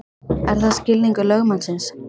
Er það skilningur lögmannsins?